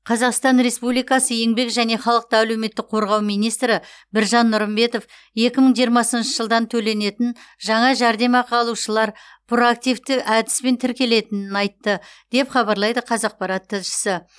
қазақстан республикасы еңбек және халықты әлеуметтік қорғау министрі біржан нұрымбетов екі мың жиырмасыншы жылдан төленетін жаңа жәрдемақы алушылар проактивті әдіспен тіркелетінін айтты деп хабарлайды қазақпарат тілшісі